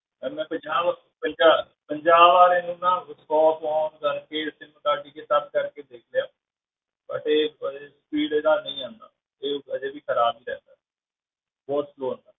Ma'am ਮੈਂ ਪੰਜਾਹ ਵਾਰ ਪੰਜਾਹ ਪੰਜਾਹ ਵਾਰ ਇਹਨੂੰ ਨਾ off on ਕਰਕੇ sim ਕੱਢ ਕੇ ਸਭ ਕਰਕੇ ਦੇਖ ਲਿਆ but ਇਹ ਪਰ speed ਇਹਦਾ ਨਹੀਂ ਆਉਂਦਾ, ਇਹ ਹਜੇ ਵੀ ਖ਼ਰਾਬ ਹੀ ਰਹਿੰਦਾ ਬਹੁਤ slow ਹੈ